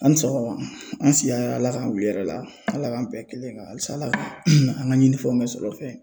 A' ni sɔgɔma, an siga hɛrɛ la Ala k'an wuli hɛrɛ la. Ala k'an bɛn kelen kan halisa Ala ka an ŋa ɲinifɛnw bɛ sɔrɔfɛn ye.